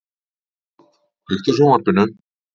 Eðvald, kveiktu á sjónvarpinu.